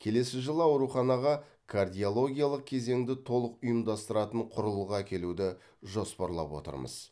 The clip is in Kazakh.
келесі жылы ауруханаға кардиологиялық кезеңді толық ұйымдастыратын құрылғы әкелуді жоспарлап отырмыз